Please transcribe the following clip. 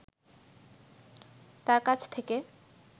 তার কাছ থেকে